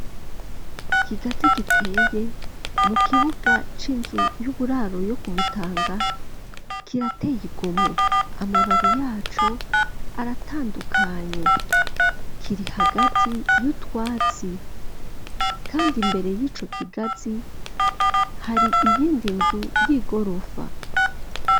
Ikigazi giteye mu kibuga c'inzu y'uburaro yo kumutanga kirateye igomwe amababi yaco aratandukanye kiri hagati y'utwatsi kandi mbere y'ico kigazi hari iyindi nzu y'igorofa.